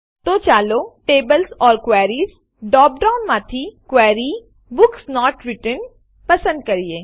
તો ચાલો tables or queries ડ્રોપડાઉનમાંથી Query બુક્સ નોટ રિટર્ન્ડ પસંદ કરીએ